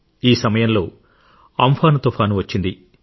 ఈ సమయంలో అంఫాన్ తుపాను వచ్చింది